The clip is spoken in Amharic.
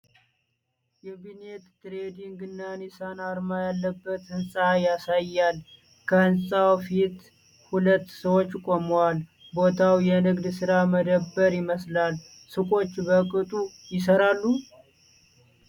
የቢምኔት ትሬዲንግ እና ኒሳን አርማ ያለበት ህንፃ ያሳያል። ከህንፃው ፊት ሁለት ሰዎች ቆመዋል። ቦታው የንግድ ሥራ መደብር ይመስላል። ሱቆቹ በቅጡ ይሠራሉ?